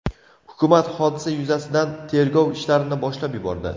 Hukumat hodisa yuzasidan tergov ishlarini boshlab yubordi.